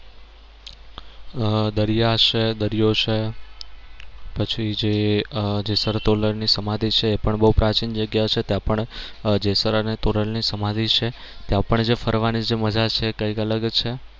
આહ દરિયા છે દરિયો છે પછી જે આહ જેસલ તોરલ ની સમાધિ છે એ પણ બહુ પ્રાચીન જગ્યા છે ત્યાં પણ જેસલ અને તોરલ ની સમાધિ છે ત્યાં પણ જે ફરવાની જે મજા છે એ કઈક અલગ છે.